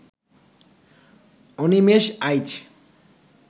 Animesh Aich